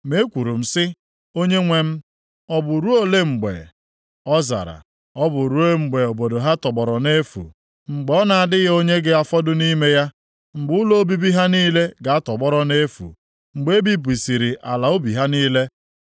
Ma ekwuru m sị, “Onyenwe m, ọ bụ ruo ole mgbe?” Ọ zara, “Ọ bụ ruo mgbe obodo ha tọgbọrọ nʼefu, mgbe ọ na-adịghị onye ga-afọdụ nʼime ya; mgbe ụlọ obibi ha niile ga-atọgbọrọ nʼefu, mgbe e bibisịrị ala ubi ha niile.